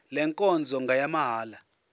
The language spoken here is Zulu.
le nkonzo ngeyamahala